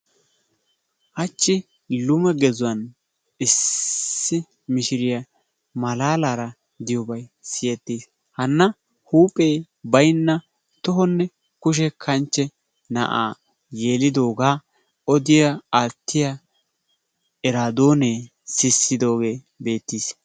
Hachchi lume gexuwaan issi mishshiriya malaalara diyobay siyettiis. Hana huuphphee baynna tohonne kushshe kanchche na'aa yelidoogaa odiya aattiya eraadonnee sisidoogee beettiis.